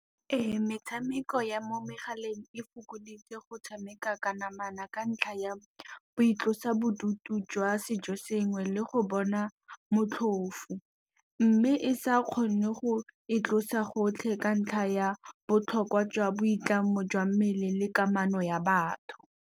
Ee, metshameko ya mo megaleng e fokoditse go tshameka ka namana ka ntlha ya boitlosobodutu jwa sejo sengwe, le go bona motlhofo. Mme e sa kgone go e tlosa gotlhe ka ntlha ya botlhokwa jwa boitlamo jwa mmele, le kamano ya batho.